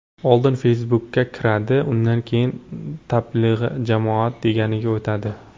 Oldin Facebook’ka kiradi, undan keyin ‘Tablig‘i jamoat’ deganiga o‘tadi.